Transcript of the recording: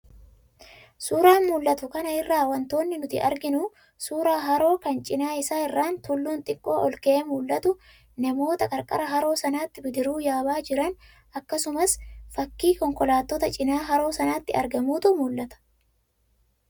Suuraa mul'atu kana irraa wantoonni nuti arginu suuraa haroo kan cinaa isaa irraan tulluun xiqqoo olka'ee mul'atu, namoota qarqara haroo sanaatti bidiruu yaabaa jiran akkasumas fakkii konkolaataa cinaa haroo sanaatti argamuutu mul'ata.